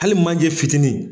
Hali manje fitinin.